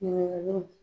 Ɲininkaliw